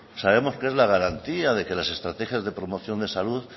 sabemos que es la garantía de que las estrategias de promoción de salud